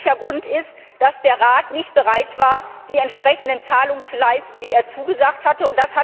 Ein wesentlicher Grund ist, dass der Rat nicht bereit war, die entsprechenden Zahlungen zu leisten, die er zugesagt hatte.